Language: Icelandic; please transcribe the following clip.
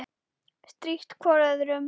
Strítt hvor öðrum.